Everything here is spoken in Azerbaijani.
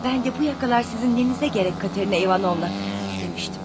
Mən də 'Bu yaxalar sizin nəyinizə gərək Katerina İvanovna' demişdim.